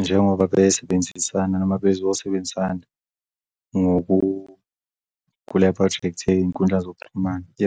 Njengoba besebenzisana mabe zosebenzisana kule phrojekthi yeyinkundla